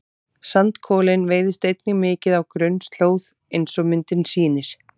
sandkolinn veiðist einnig mikið á grunnslóð eins og myndin sýnir